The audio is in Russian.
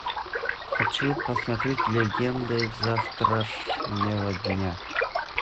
хочу посмотреть легенды завтрашнего дня